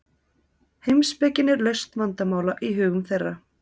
heimspekin er lausn vandamála í hugum þeirra